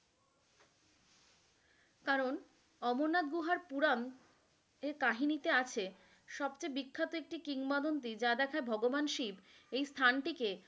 কারন অমরনাথ গুহার পুরান এর কাহিনীতে আছে, সব চেয়ে বিখ্যাত একটা কিংবদন্তি যার একটা ভগবান শিব এই স্থানটিকে,